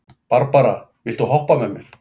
Barbara, viltu hoppa með mér?